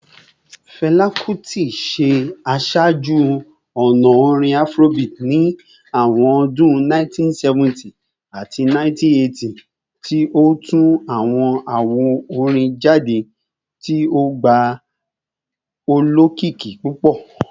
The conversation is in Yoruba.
Fẹla Kuti ṣe aṣaaju-ọna orin Afrobeat ni awọn ọdun 1970 ati 1980, ti o tu awọn awo-orin jade ti o gba olokiki pupọ.